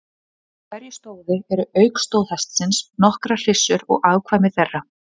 Í hverju stóði eru auk stóðhestsins nokkrar hryssur og afkvæmi þeirra.